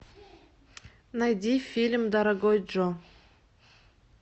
найди фильм дорогой джо